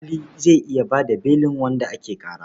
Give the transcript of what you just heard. Alƙali zai iya ba da belin wanda ake ƙara.